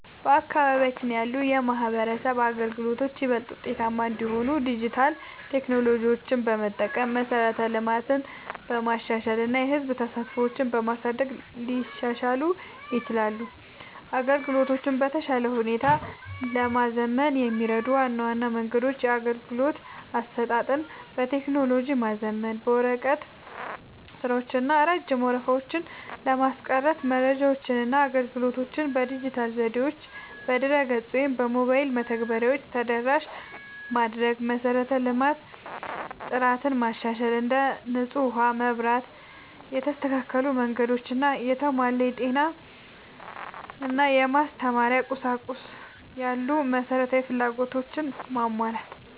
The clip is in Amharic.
በአካባቢያችን ያሉ የማህበረሰብ አገልግሎቶች ይበልጥ ውጤታማ እንዲሆኑ ዲጂታል ቴክኖሎጂዎችን በመጠቀም፣ መሠረተ ልማትን በማሻሻል እና የህዝብ ተሳትፎን በማሳደግ ሊሻሻሉ ይችላሉ። አገልግሎቶቹን በተሻለ ሁኔታ ለማዘመን የሚረዱ ዋና ዋና መንገዶች - የአገልግሎት አሰጣጥን በቴክኖሎጂ ማዘመን፦ የወረቀት ስራዎችን እና ረጅም ወረፋዎችን ለማስቀረት መረጃዎችንና አገልግሎቶችን በዲጂታል ዘዴዎች (በድረ-ገጽ ወይም በሞባይል መተግበሪያዎች) ተደራሽ ማድረግ። የመሠረተ ልማት ጥራትን ማሻሻል፦ እንደ ንጹህ ውሃ፣ መብራት፣ የተስተካከሉ መንገዶች እና የተሟላ የጤና/የማስተማሪያ ቁሳቁስ ያሉ መሠረታዊ ፍላጎቶችን ማሟላት።